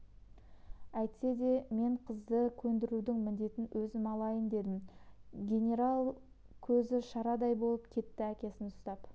әйтсе де мен қызды көндірудің міндетін өзім алайын дедім генералдың көзі шарадай болып кетті әкесін ұстап